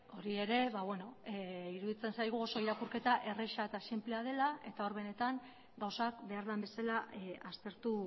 hori ere ba bueno iruditzen zaigu oso irakurketa erreza eta sinplea dela eta hor benetan gauzak behar den bezala aztertu